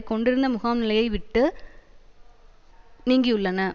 கொண்டிருந்த முகாம்நிலையை விட்டு நீங்கியுள்ளன